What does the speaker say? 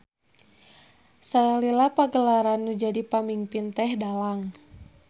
Salila pagelaran nu jadi pamingpin teh dalang.